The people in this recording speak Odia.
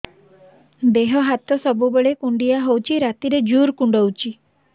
ଦେହ ହାତ ସବୁବେଳେ କୁଣ୍ଡିଆ ହଉଚି ରାତିରେ ଜୁର୍ କୁଣ୍ଡଉଚି